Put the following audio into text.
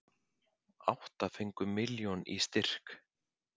Átta fengu milljón í styrk